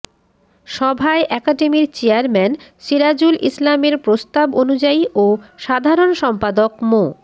সভায় একাডেমির চেয়ারম্যান সিরাজুল ইসলামের প্রস্তাব অনুযায়ী ও সাধারণ সম্পাদক মো